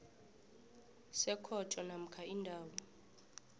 sekhotho namkha indawo